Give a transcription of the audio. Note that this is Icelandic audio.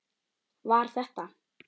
Var þetta.